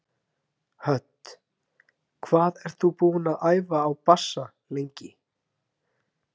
Hödd: Hvað ert þú búinn að æfa á bassa lengi?